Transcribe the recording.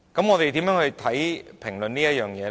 我們如何評論這件事呢？